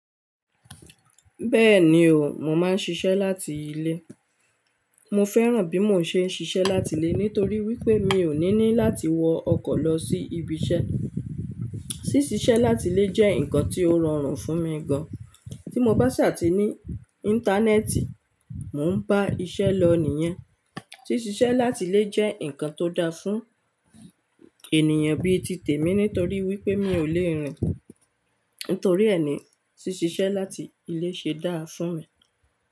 Bẹ́ẹ̀ni o, mò máa ń ṣiṣẹ́ láti ilé. Mo fẹ́ràn bí mo ṣe ń ṣiṣẹ́ láti ilé nítorí wípé mi ò ní ní láti wọ ọkọ̀ lọ sí ibi iṣẹ́. Síṣe iṣẹ́ láti ilé jẹ́ ǹkan tí ó rọrùn fún mi gan. Tí mo bá ṣà tì ní íńtánẹ́ẹ̀tì, mò ń bá iṣẹ́ lọ nìyẹn. Síṣe iṣẹ́ láti ilé jẹ́ ǹkan tó da fún ènìyàn bí i ti tèmi nítorí wípé mi ò le rìn. Nítorí ẹ ni síṣe iṣẹ́ láti ilé ṣe dáa fún mi.